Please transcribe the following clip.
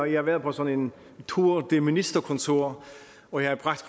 jeg været på sådan en tour de ministerkontor og jeg